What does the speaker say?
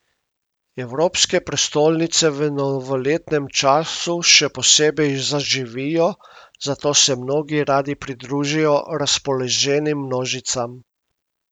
Evropske prestolnice v novoletnem času še posebej zaživijo, zato se mnogi radi pridružijo razpoloženim množicam.